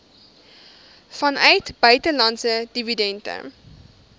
vanuit buitelandse dividende